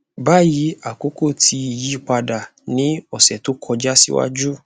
bayi akoko ti n yipada ni ọsẹ to kọja siwaju